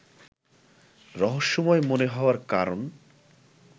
রহস্যময় মনে হওয়ার কারণ